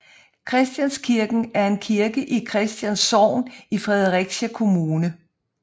Christianskirken er en kirke i Christians Sogn i Fredericia Kommune